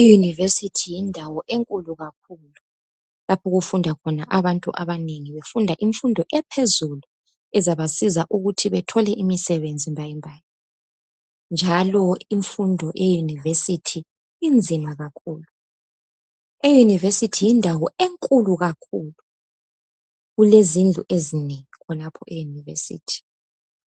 i university yindawo enkulu kakhulu lapho okufunda khona abantu abanengi kakhulu bafunda imfundo ephezulu ezabasiza ukuthi bethole imisebenzi mbayimbayi njalo imfundo eye university inzima kakhulu e university yindawo enkulu kakhulu kulezindlu ezinengi khonapho e univesity